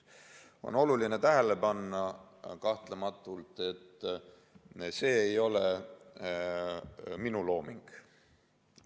On oluline tähele panna, et see ei ole minu looming.